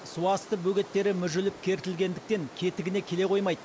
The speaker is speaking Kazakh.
су асты бөгеттері мүжіліп кертілгендіктен кетігіне келе қоймайды